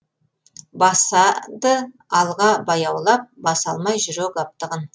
басады алға баяулап баса алмай жүрек аптығын